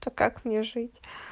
то как мне жить